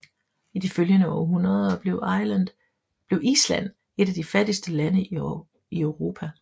I de følgende århundreder blev Island et af de fattigste lande i Europa